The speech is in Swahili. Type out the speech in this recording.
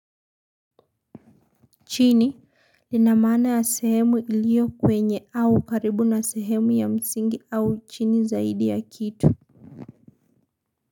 Chini lina maana ya sehemu iliyo kwenye au karibu na sehemu ya msingi au chini zaidi ya kitu.